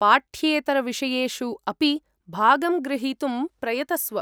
पाठ्येतरविषयेषु अपि भागं ग्रहीतुं प्रयतस्व।